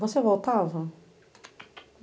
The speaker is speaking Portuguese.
Você voltava?